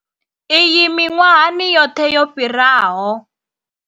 Iyi miṅwahani yoṱhe yo fhiraho.